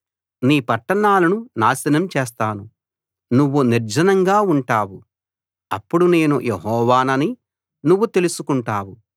నీ పట్టణాలను నాశనం చేస్తాను నువ్వు నిర్జనంగా ఉంటావు అప్పుడు నేను యెహోవానని నువ్వు తెలుసుకుంటావు